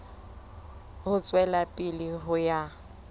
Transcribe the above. ho tswela pele ho ya